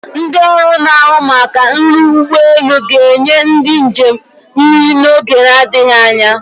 Ndị ọrụ na-ahụ maka nri ụgbọelu ga-enye ndị njem nri n'oge adịghị anya.